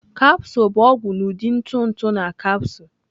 Capsule bụ ọgwụ n'ụdị ntụ ntụ na capsule.